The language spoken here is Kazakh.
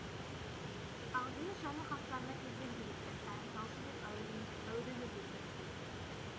ақжүніс жаңа қастарына келген жігітті ән салшы деп әурелеуге кіріскен